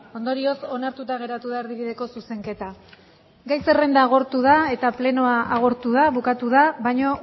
ondorioz onartuta geratu da erdibideko zuzenketa gai zerrenda agortu da eta plenoa agortu da bukatu da baina